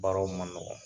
Baaraw man nɔgɔn